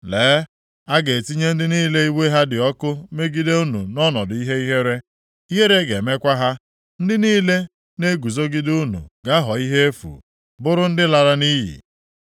“Lee! A ga-etinye ndị niile iwe ha dị ọkụ megide unu nʼọnọdụ ihe ihere, ihere ga-emekwa ha. Ndị niile na-eguzogide unu ga-aghọ ihe efu, bụrụ ndị lara nʼiyi.